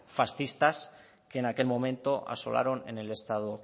fascistas que en aquel momento asolaron en el estado